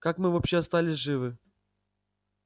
как мы вообще остались живы